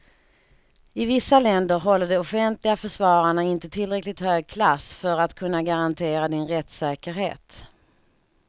I vissa länder håller de offentliga försvararna inte tillräckligt hög klass för att kunna garantera din rättssäkerhet.